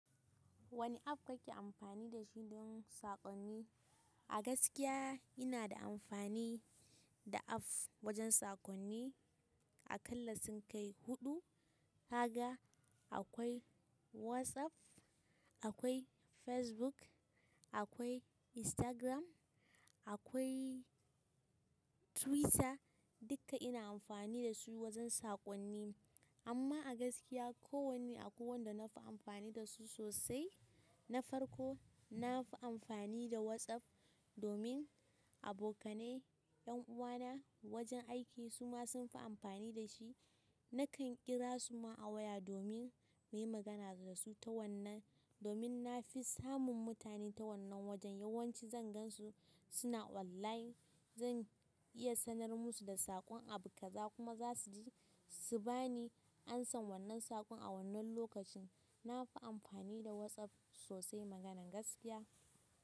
Wane app kake amfani da shi don saƙonni? A gaskiya ina da amfani da app wajen saƙonni. Akalla sun kai huɗu. Kaga akwai Whatsapp akwai Facebook akwai Instagram akwai Twitter dukka ina amfani dasu wajan saƙonni amma a gaskiya ko wanne akwai wanda na fi amfani da su sosai na farko, na fi amfani da WhatsApp domin abokanai, ƴan'uwana, wajen aiki su ma sun fi amfani da shi. Nakan ƙira su ma a waya domin na yi magana da su ta wannan, domin na fi samun mutane ta wannan wajen. Yawan ci zan gan su suna online. Zan iya sanar musu da saƙon abubƙaza kuma za su ji su ba ni amsan wannan saƙon a wannan lokacin. Na fi amfani da WhatsApp sosai maganar gaskiya.